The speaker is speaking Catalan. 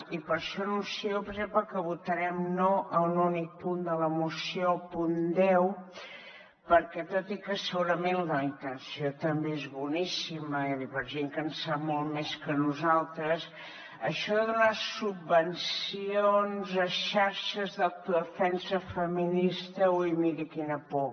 i per això anuncio per exemple que votarem no a un únic punt de la moció al punt deu perquè tot i que segurament la intenció també és boníssima per a gent que en sap molt més que nosaltres això de donar subvencions a xarxes d’autodefensa feminista ui miri quina por